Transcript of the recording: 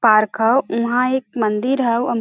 Park हउ वहाँ एक मंदिर ह ।